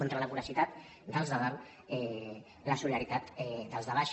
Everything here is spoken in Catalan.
contra la voracitat dels de dalt la solidaritat dels de baix